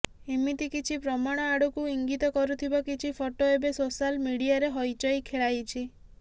ଏମିତି କିଛି ପ୍ରମାଣ ଆଡ଼କୁ ଇଙ୍ଗିତ କରୁଥିବା କିଛି ଫଟୋ ଏବେ ସୋଶାଲ୍ ମିଡିଆରେ ହଇଚଇ ଖେଳାଇଛି